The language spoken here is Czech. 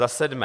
Za sedmé.